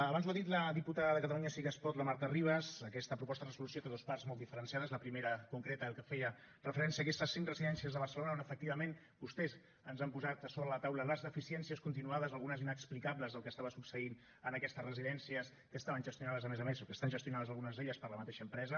abans ho ha dit la diputada de catalunya sí que es pot la marta ribas aquesta proposta de resolució té dues parts molt diferenciades la primera concreta que feia referència a aquestes cinc residències de barcelona on efectivament vostès ens han posat a sobre la taula les deficiències continuades algunes inexplicables del que estava succeint en aquestes residències que estaven gestionades a més a més o que estan gestionades algunes d’elles per la mateixa empresa